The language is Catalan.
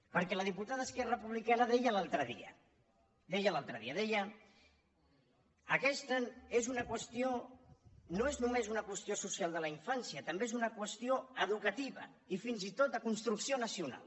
perquè la diputada d’esquerra republicana deia l’altre dia deia aquesta no és només una qüestió social de la infància també és una qüestió educativa i fins i tot de construcció nacional